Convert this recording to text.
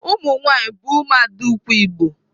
Umunwanyi bu umuada ukwu Igbo.